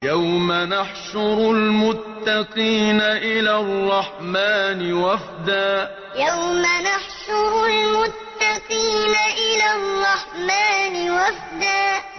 يَوْمَ نَحْشُرُ الْمُتَّقِينَ إِلَى الرَّحْمَٰنِ وَفْدًا يَوْمَ نَحْشُرُ الْمُتَّقِينَ إِلَى الرَّحْمَٰنِ وَفْدًا